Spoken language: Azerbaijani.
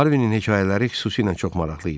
Harvinin hekayələri xüsusilə çox maraqlı idi.